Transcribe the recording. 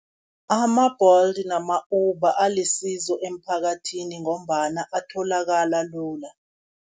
Ama-Bolt nama -Uber alisizo emphakathini, ngombana atholakala lula.